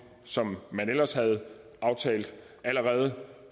som man ellers havde aftalt allerede